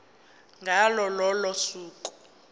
ngalo lolo suku